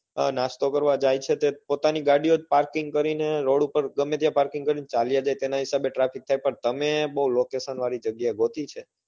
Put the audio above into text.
હા નાસ્તો કરવા જાય છે તે પોતાની ગાડીઓ parking કરી ને ગમે ત્યાં parking કરી ને ચાલ્યા જાય એના હિસાબે traffic થાય છે પણ તમે બઉ location વાળી જગ્યા ગોતી છે.